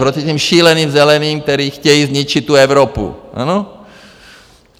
Proti těm šíleným Zeleným, kteří chtějí zničit tu Evropu!